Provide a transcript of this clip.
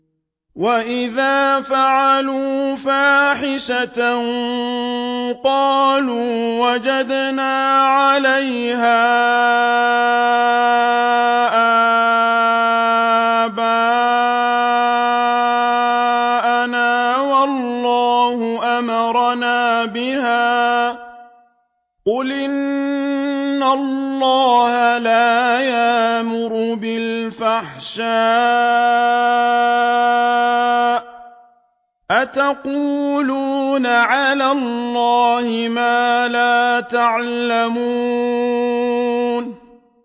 وَإِذَا فَعَلُوا فَاحِشَةً قَالُوا وَجَدْنَا عَلَيْهَا آبَاءَنَا وَاللَّهُ أَمَرَنَا بِهَا ۗ قُلْ إِنَّ اللَّهَ لَا يَأْمُرُ بِالْفَحْشَاءِ ۖ أَتَقُولُونَ عَلَى اللَّهِ مَا لَا تَعْلَمُونَ